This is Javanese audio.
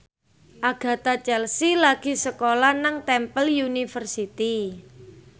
Agatha Chelsea lagi sekolah nang Temple University